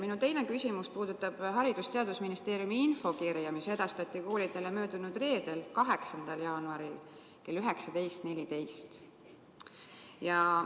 Minu teine küsimus puudutab Haridus- ja Teadusministeeriumi infokirja, mis edastati koolidele möödunud reedel, 8. jaanuaril kell 19.14.